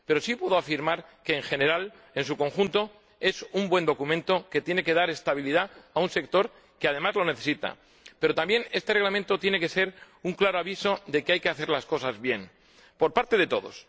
Pero sí puedo afirmar que, en su conjunto, es un buen documento que tiene que dar estabilidad a un sector que, además, lo necesita. Pero este Reglamento también tiene que ser un claro aviso de que hay que hacer las cosas bien, por parte de todos.